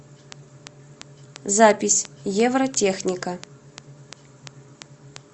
запись евротехника